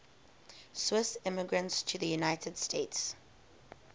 swiss immigrants to the united states